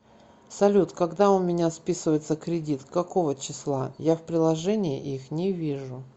салют когда у меня списывается кредит какого числа я в приложении их не вижу